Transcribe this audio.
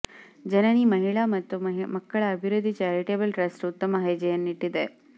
ಜನನಿ ಮಹಿಳಾ ಮತ್ತು ಮಕ್ಕಳ ಅಭಿವೃದ್ಧಿ ಚಾರಿಟೇಬಲ್ ಟ್ರಸ್ಟ್ ಉತ್ತಮ ಹೆಜ್ಜೆಯನ್ನಿಟ್ಟಿದೆ